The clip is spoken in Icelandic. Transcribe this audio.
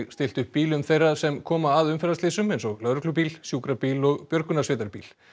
stillt upp bílum þeirra sem koma að umferðaslysum eins og lögreglubíl sjúkrabíl og björgunarsveitarbíl